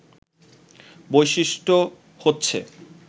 বৈশিষ্ট্য হচ্ছে